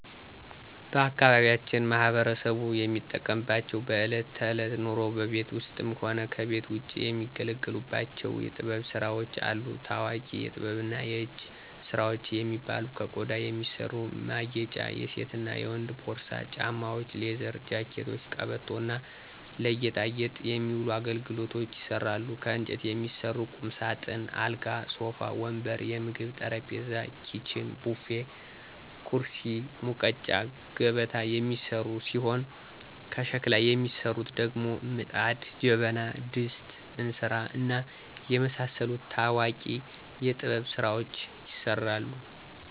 ባአካባቢያችን ማህበረሰቡ የሚጠቀምባቸው በእለት ተእለት ኑሮው በቤት ውስጥም ሆነ ከቤት ውጭ የሚገለገሉባቸው የጥበብ ስራዎች አሉ። ታዎቂ የጥበብና የእጅ ስራዎች የሚባሉ ከቆዳ የሚሰሩ ማጌጫ የሴትና የወንድ ፖርሳ፣ ጫማዎች፣ ሌዘር ጃኬቶች፣ ቀበቶ እና ለጌጣጌጥ የሚውሉ አገልግሎች ይሰራሉ። ከእንጨት የሚሰሩ ቁምሳጥን፣ አልጋ፣ ሶፋ ወንበር፣ የምግብ ጠረጴዛ፣ ኪችን፣ ቡፌ፣ ኩርሲ፣ ሙቀጫ፣ ገበታ የሚሰሩ ሲሆን ከሸክላ የሚሰሩት ደግሞ ምጣድ፣ ጀበና፣ ድስት፣ እንስራ፣ እና የመሳሰሉት ታዎቂ የጥበብ ስራዎች ይሰራሉ።